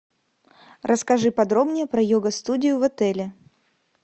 расскажи подробнее про йога студию в отеле